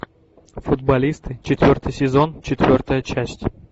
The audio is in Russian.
футболисты четвертый сезон четвертая часть